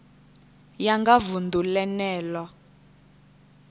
ya nga vunḓu ḽene ḽo